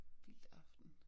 Vildtaften